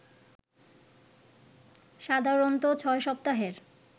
সাধারণত ৬ সপ্তাহের